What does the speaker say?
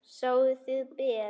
Sváfuð þið ber?